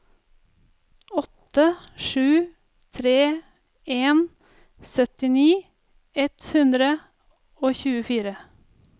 åtte sju tre en syttini ett hundre og tjuefire